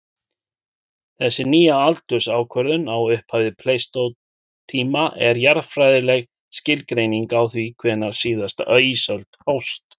Þessi nýja aldursákvörðun á upphafi pleistósentíma er jarðfræðileg skilgreining á því hvenær síðasta ísöld hófst.